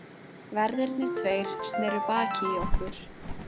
Verðirnir tveir sneru baki í okkur.